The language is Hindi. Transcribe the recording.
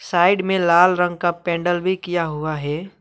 साइड में लाल रंग का पेंडल भी किया हुआ है।